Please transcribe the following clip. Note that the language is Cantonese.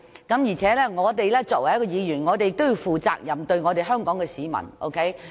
而且，作為議員，我們要對香港市民負責。